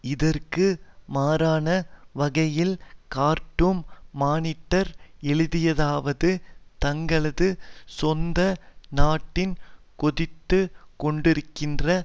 இதற்கு மாறான வகையில் கார்ட்டூம் மானிட்டர் எழுதியதாவது தங்களது சொந்த நட்டின் கொதித்து கொண்டிருக்கின்ற